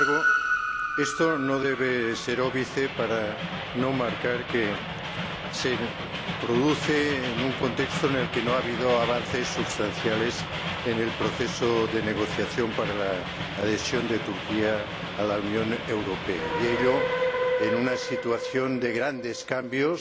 Sin embargo, esto no debe ser óbice para indicar que se produce en un contexto en el que no ha habido avances sustanciales en el proceso de negociación para la adhesión de Turquía a la Unión Europea, y ello en una situación de grandes cambios